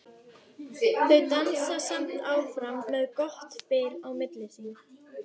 Þau dansa samt áfram með gott bil á milli sín.